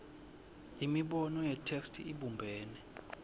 imibono yetheksthi ibumbene